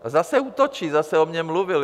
A zase útočí, zase o mně mluvil.